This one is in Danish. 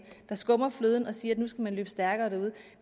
der skummer fløden og siger at nu skal man løbe stærkere derude